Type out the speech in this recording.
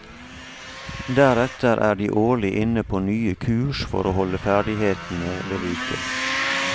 Deretter er de årlig inne på nye kurs for å holde ferdighetene ved like.